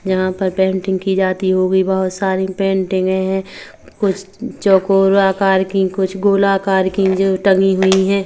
यहाँ पर पेंटिंग कि जाती वो भी बहुत सारी पेंटिंगे है कुछ चौकोर आकार कि कुछ गोलाकार कि जो टंगी हुई है।